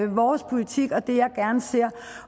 vores politik og det jeg gerne ser